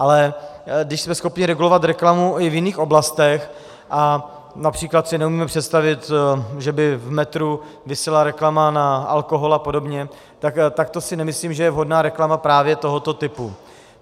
Ale když jsme schopni regulovat reklamu i v jiných oblastech, například si neumíme představit, že by v metru visela reklama na alkohol a podobně, tak to si nemyslím, že je vhodná reklama právě tohoto typu.